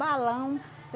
Balão.